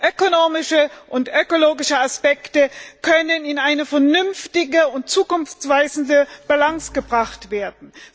Ökonomische und ökologische Aspekte können in eine vernünftige und zukunftsweisende Balance gebracht werden.